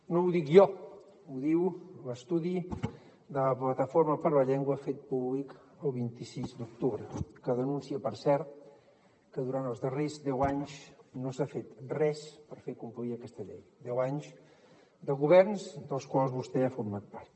no ho dic jo ho diu l’estudi de la plataforma per la llengua fet públic el vint sis d’octubre que denuncia per cert que durant els darrers deu anys no s’ha fet res per fer complir aquesta llei deu anys de governs dels quals vostè ha format part